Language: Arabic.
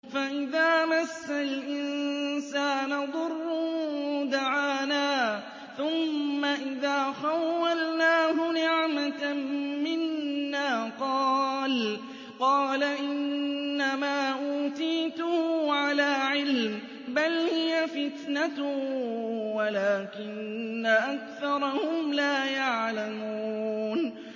فَإِذَا مَسَّ الْإِنسَانَ ضُرٌّ دَعَانَا ثُمَّ إِذَا خَوَّلْنَاهُ نِعْمَةً مِّنَّا قَالَ إِنَّمَا أُوتِيتُهُ عَلَىٰ عِلْمٍ ۚ بَلْ هِيَ فِتْنَةٌ وَلَٰكِنَّ أَكْثَرَهُمْ لَا يَعْلَمُونَ